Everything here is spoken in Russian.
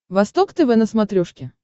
восток тв на смотрешке